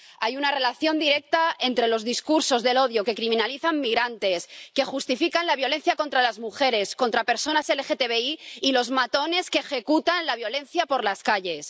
Hay una relación directa entre los discursos del odio que criminalizan migrantes, que justifican la violencia contra las mujeres, contra personas LGTBI, y los matones que ejecutan la violencia por las calles.